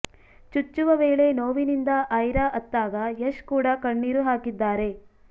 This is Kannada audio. ಚುಚ್ಚುವ ವೇಳೆ ನೋವಿನಿಂದ ಐರಾ ಅತ್ತಾಗ ಯಶ್ ಕೂಡಾ ಕಣ್ಣೀರು ಹಾಕಿದ್ದಾರೆ